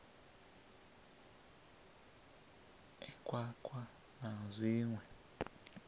e khwakhwa ii na zwiṋwe